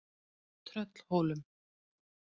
Tröllhólum